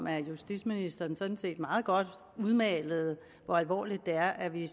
at justitsministeren sådan set meget godt udmalede hvor alvorligt det er at vi